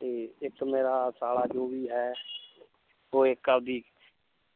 ਤੇ ਇੱਕ ਮੇਰਾ ਸਾਲਾ ਜੋ ਵੀ ਹੈ ਉਹ ਇੱਕ ਆਪਦੀ